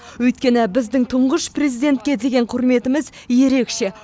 өйткені біздің тұңғыш президентке деген құрметіміз ерекше